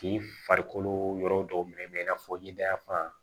K'i farikolo yɔrɔ dɔw minɛ i n'a fɔ ɲɛda fan